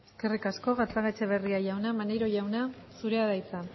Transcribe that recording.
eskerrik asko gatzagaetxebarria jauna maneiro jauna zurea da hitza